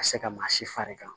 Ka se ka maa si fari kan